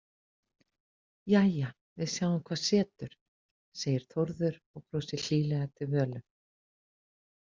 Jæja, við sjáum hvað setur, segir Þórður og brosir hlýlega til Völu.